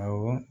Awɔ